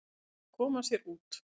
Og þau komu sér út.